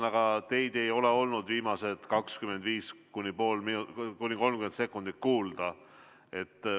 Aga teid ei ole olnud viimased 25–30 sekundit kuulda.